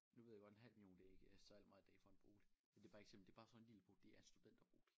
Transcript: Nu ved jeg godt en halv million det ikke særlig meget i dag for en bolig men det bare eksempel det bare sådan lille bo det er studenterbolig